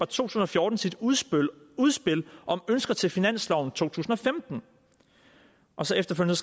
tusind og fjorten sit udspil udspil om ønsker til finansloven to tusind og femten og så efterfølgende